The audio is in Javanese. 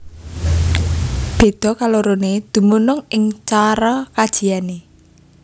Béda kaloroné dumunung ing cara kajiané